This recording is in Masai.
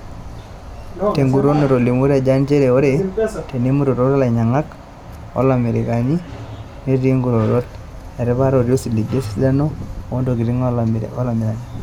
Teguton etolimuo Rajan, njeree oree teinetumo ilanyiangak oolamirak netii nkirorot etipata otii osiligi lesidano oontokitin olamirani.